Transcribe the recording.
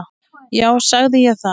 Já, sagði ég það?